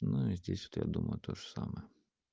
ну и здесь вот я думаю тоже самое